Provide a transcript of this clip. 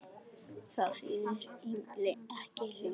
Það þýðir ekki lengur.